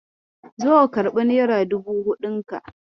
Zo ka karɓi nera dubu huɗun ka.